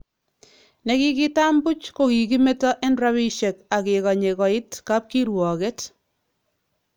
Nekikitam buch kokikimeto en rabisiek ak kekanye koit kabkirwoket